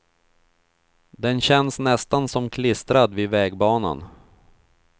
Den känns nästan som klistrad vid vägbanan.